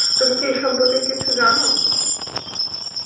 তুমি কি এই সম্পর্কে কিছু জানো?